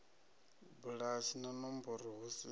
bulasi na nomboro hu si